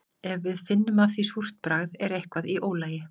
Ef við finnum af því súrt bragð er eitthvað í ólagi.